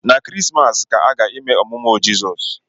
Na kirisimasi ka aga ime ọmụmụ jesu